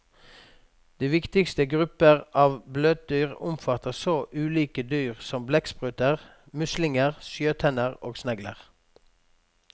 De viktigste grupper av bløtdyr omfatter så ulike dyr som blekkspruter, muslinger, sjøtenner og snegler.